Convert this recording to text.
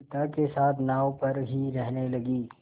पिता के साथ नाव पर ही रहने लगी